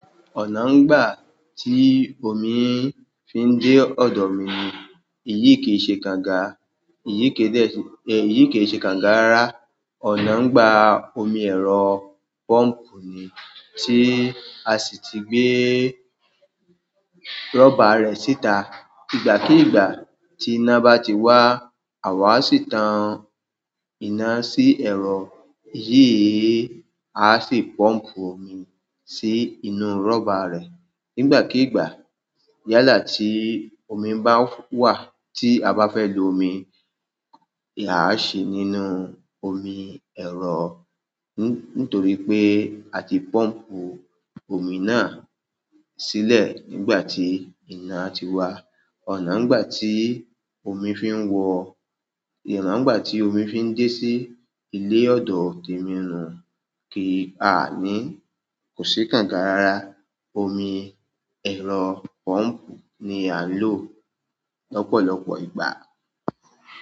Ọ̀nà ń gbà tí omi fi ń dé ọ̀dọ̀ mi ni, èyí kì í ṣe kànga, èyí kì e de se, èyí kì í ṣe kànga rárá. Ọ̀nà ń gba omi ẹ̀rọ pump ni tí a sì ti gbé rubber rẹ̀ síta. Ìgbá kí ìgbá tí iná bá ti wá, àwà a sì tan iná sí ẹ̀rọ yìí, à sì pump omi sí inú rubber rẹ̀. Ìgbá kí ìgbá, yálà tí omi bá wà tí a bá fẹ́ lo omi, a á ṣi nínú omi ẹ̀rọ nítorí pé a ti pump omi náà sílẹ̀ nígbà tí iná ti wá. Ọ̀nà ń gbà tí omi fi ń wọ, ọ̀nà ń gbà tí omi fi ń dé sí ilé ọ̀dọ̀ tèmi nù kì a a ní, kò sì kànga rárá. Omi ẹ̀rọ pọ́ǹpù ni à ń lò lọ́pọ̀lọpọ̀ ìgbà.